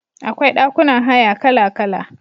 Akwai ɗakunan haya kala-kala.